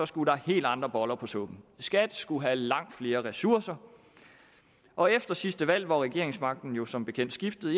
skulle der helt andre boller på suppen skat skulle have langt flere ressourcer og efter sidste valg hvor regeringsmagten jo som bekendt skiftede